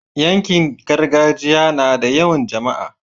yankin gargajiya nada yawan jamaa